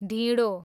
ढिँडो